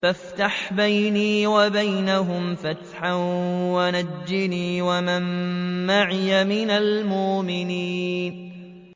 فَافْتَحْ بَيْنِي وَبَيْنَهُمْ فَتْحًا وَنَجِّنِي وَمَن مَّعِيَ مِنَ الْمُؤْمِنِينَ